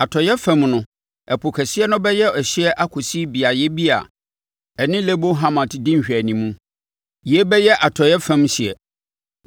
Atɔeɛ fam no, Ɛpo Kɛseɛ no bɛyɛ ɛhyeɛ akɔsi beaeɛ bi a ɛne Lebo Hamat di nhwɛanim. Yei bɛyɛ atɔeɛ fam hyeɛ.